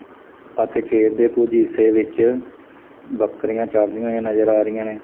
ਅਤੇ ਖੇਤ ਦੇ ਕੁਛ ਹਿੱਸੇ ਵਿੱਚ ਬੱਕਰੀਆਂ ਚਰਦੀਆਂ ਹੋਈਆਂ ਨਜ਼ਰ ਆ ਰਹੀਆਂ ਨੇ।